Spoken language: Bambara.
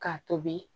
K'a tobi